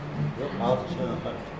жоқ ағылшыншамен практика